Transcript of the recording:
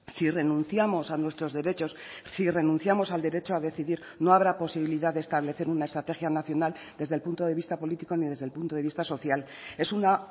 si renunciamos a nuestros derechos si renunciamos al derecho a decidir no habrá posibilidad de establecer una estrategia nacional desde el punto de vista político ni desde el punto de vista social es una